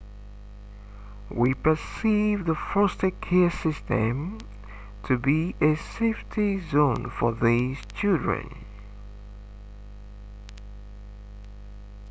we perceive the foster care system to be a safety zone for these children